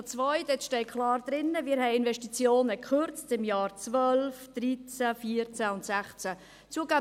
Dort steht klar, dass wir Investitionen in den Jahren 2012, 2013, 2014 und 2016 gekürzt haben.